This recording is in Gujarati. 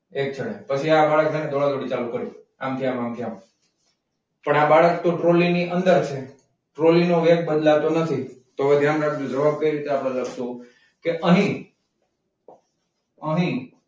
પછી આ છે બહાર ચાલુ કરશે આમથી આમ આમ થી આમ પણ બાળક તો ટ્રોલી ની અંદર છે. ટ્રોલી નો વેટ બદલાતો નથી તો ધ્યાન રાખજો જવાબ કઈ રીતે આપેલા છે તો કે અહીં અહીં